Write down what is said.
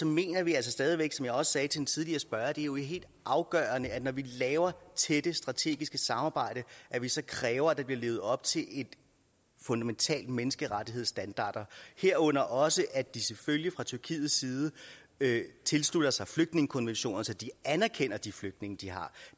mener vi altså stadig væk som jeg også sagde til en tidligere spørger at det jo er helt afgørende når vi laver tætte strategiske samarbejder at vi så kræver at der bliver levet op til fundamentale menneskerettighedsstandarder herunder også at de selvfølgelig fra tyrkiets side tilslutter sig flygtningekonventionerne så de anerkender de flygtninge de har